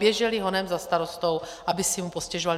Běžely honem za starostou, aby si mu postěžovaly.